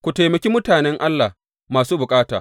Ku taimaki mutanen Allah masu bukata.